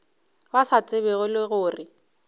ba sa tsebego le gore